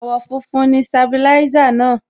Àwọ̀ funfun ni Sabilisa náà.